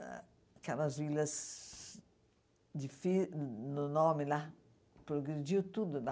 Aquelas vilas de fi no nome lá, progrediu tudo lá.